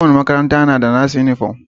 Ko wani makaranta na da nasu uniform.